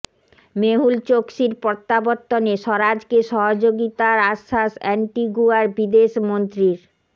মেহুল চোকসির প্ৰত্যাবর্তনে স্বরাজকে সহযোগিতার আশ্বাস অ্যান্টিগুয়ার বিদেশ মন্ত্ৰীর